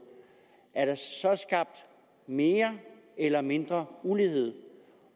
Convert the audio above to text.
er der så skabt mere eller mindre ulighed